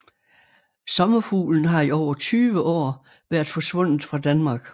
Sommerfuglen har i over 20 år været forsvundet fra Danmark